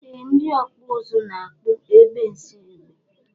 Ee ndi ọkpụzụ na akpụ egbe nshiegbe.